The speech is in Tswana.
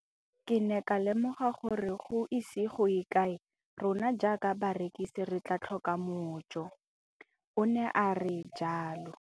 Ke ne ka lemoga gore go ise go ye kae rona jaaka barekise re tla tlhoka mojo, o ne a re jalo.